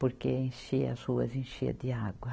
Porque enchia as ruas, enchia de água.